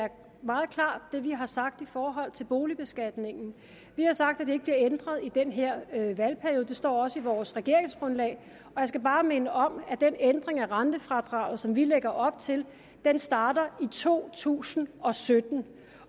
er meget klart hvad vi har sagt i forhold til boligbeskatningen vi har sagt at den ikke bliver ændret i den her valgperiode det står også i vores regeringsgrundlag og jeg skal bare minde om at den ændring af rentefradraget som vi lægger op til starter i to tusind og sytten